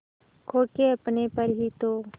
खो के अपने पर ही तो